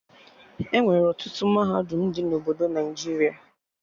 Enwere ọtụtụ mahadum dị na obodo Naijiria